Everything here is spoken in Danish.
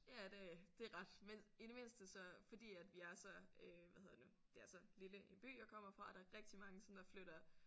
Ja det det er ret men i det mindste så fordi at vi er så øh hvad hedder det nu det er så lille en by jeg kommer fra er der rigtig mange som der flytter